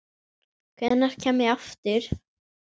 Hvenær kem ég aftur?